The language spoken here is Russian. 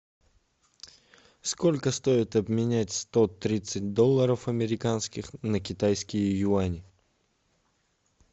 сколько стоит обменять сто тридцать долларов американских на китайские юани